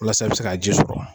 Walasa i bɛ se ka ji sɔrɔ.